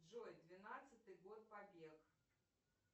джой двенадцатый год побег